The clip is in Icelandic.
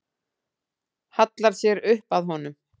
Hallar sér upp að honum.